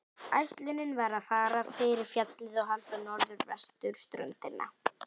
Ætlunin var að fara fyrir fjallið og halda norður vesturströndina.